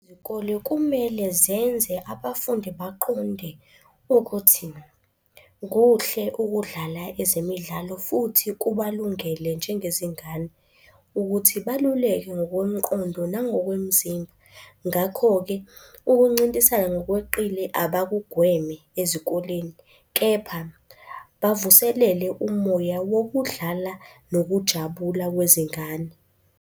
Izikole kumele zenze abafundi baqonde ukuthi kuhle ukudlala ezemidlalo futhi kubalungele njengezingane, ukuthi balulekwe ngokomqondo nangokwemizimba. Ngakho-ke ukuncintisana ngokweqile abakugweme ezikoleni, kepha bavuselele umoya wokudlala nokujabula kwezingane.